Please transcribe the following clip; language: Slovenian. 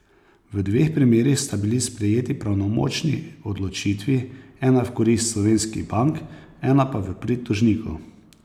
V dveh primerih sta bili sprejeti pravnomočni odločitvi, ena v korist slovenskih bank, ena pa v prid tožnikov.